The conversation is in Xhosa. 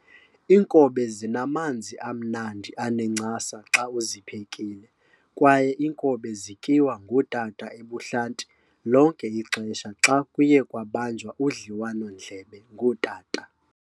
inkobe zinamanzi amnandi anencasa xa uziphekile kwaye inkobe zityiwa ngotata ebuhlanti lonke ixesha xa kuye kwabanjwa udliwano ndlebe ngotata.